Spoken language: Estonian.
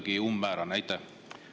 See oli kuidagi umbmäärane.